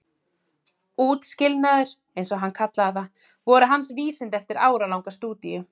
Útskilnaður- eins og hann kallaði það- voru hans vísindi eftir áralanga stúdíu.